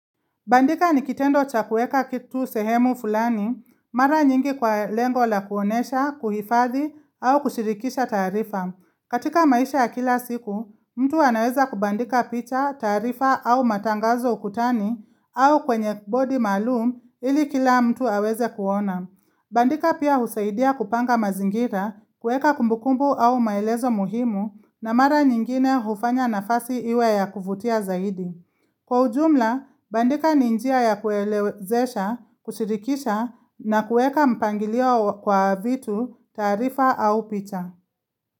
Bandika ni kitendo cha kuweka kitu sehemu fulani, mara nyingi kwa lengo la kuonesha, kuhifadhi, au kushirikisha taarifa. Katika maisha ya kila siku, mtu anaweza kubandika picha, taarifa, au matangazo ukutani au kwenye bodi maalum, ili kila mtu aweze kuona. Bandika pia husaidia kupanga mazingira, kuweka kumbukumbu au maelezo muhimu na mara nyingine hufanya nafasi iwe ya kuvutia zaidi. Kwa ujumla, bandika ni njia ya kuelewezesha, kushirikisha na kuweka mpangilio kwa vitu taarifa au picha.